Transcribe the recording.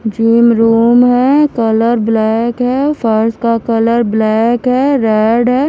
जो रूम है colour black है फर्स का कलर ब्लैक है रेड है।